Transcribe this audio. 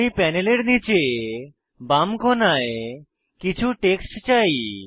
আমি প্যানেলের নীচের বাম কোণায় কিছু টেক্সট চাই